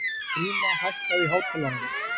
Gríma, hækkaðu í hátalaranum.